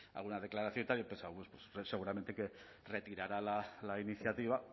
alguna declaración y tal he pensado bueno seguramente que retirará la iniciativa